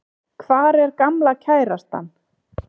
Hvar er gamla kærastan?